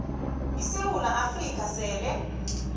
isewula afrika sele